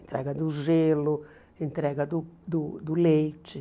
Entrega do gelo, entrega do do do leite.